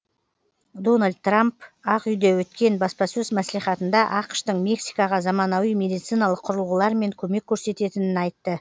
дональд трам ақ үйде өткен баспасөз мәслихатында ақш тың мексикаға заманауи медициналық құрылығылармен көмек көресететінін айтты